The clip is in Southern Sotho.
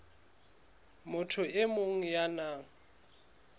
motho e mong ya nang